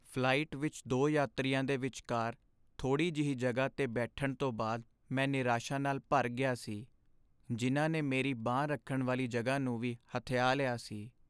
Flight ਵਿਚ ਦੋ ਯਾਤਰੀਆਂ ਦੇ ਵਿਚਕਾਰ ਥੋੜੀ ਜਿਹੀ ਜਗ੍ਹਾ 'ਤੇ ਬੈਠਣ ਤੋਂ ਬਾਅਦ ਮੈਂ ਨਿਰਾਸ਼ਾ ਨਾਲ ਭਰ ਗਿਆ ਸੀ ਜਿਨ੍ਹਾਂ ਨੇ ਮੇਰੀ ਬਾਂਹ ਰੱਖਣ ਵਾਲੀ ਜਗ੍ਹਾ ਨੂੰ ਵੀ ਹਥਿਆ ਲਿਆ ਸੀ।